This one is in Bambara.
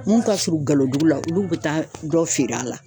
Mun ka surun Galodugu la , olu bɛ taa dɔ feere a la.